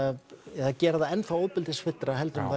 eða gera það enn ofbeldisfyllra heldur en